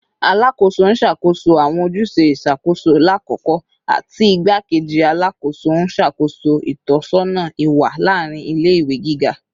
Alakoso n ṣakoso awọn ojuse iṣakoso lakoko ti Igbakeji Alakoso n ṣakoso itọsọna iwa laarin ile-iwe giga